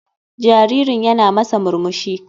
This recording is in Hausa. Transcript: Jaririn yana masa murmushi.